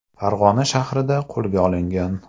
Farg‘ona shahrida qo‘lga olingan.